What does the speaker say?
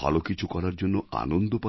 ভালো কিছু করার জন্য আনন্দ পাবো